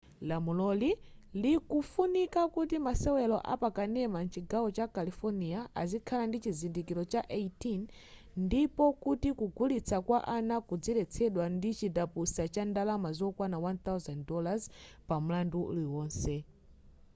lamuloli likufuna kuti masewelo apa kanema mchigawo cha california azikhala ndi chizindikilo cha 18 ndipo kuti kugulitsa kwa ana kudziletsedwa ndi chindapusa cha ndalama zokwana $1000 pa mlandu uliwonse